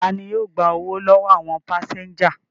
Ta ni yóò gba owó lọ́wọ́ àwọn pásẹ́ńjà?